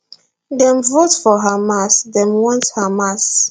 dem vote for hamas dem want hamas